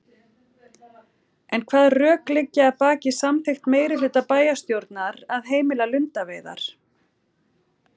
En hvaða rök liggja að baki samþykkt meirihluta bæjarstjórnar að heimila lundaveiðar?